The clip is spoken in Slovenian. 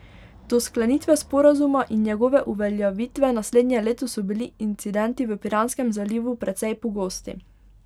Do sklenitve sporazuma in njegove uveljavitve naslednje leto so bili incidenti v Piranskem zalivu precej pogosti.